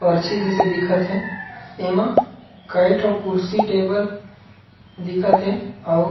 पर्ची जइसे दिखत हे एमा कई ठो कुर्सी टेबल दिखत हे अऊ--